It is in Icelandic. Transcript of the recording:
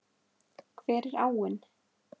Hver er áin?